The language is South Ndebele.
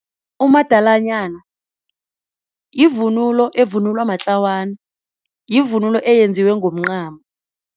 Umadalanyana yivunulo evunulwa matlawana yivunulo eyenziwe ngomncamo.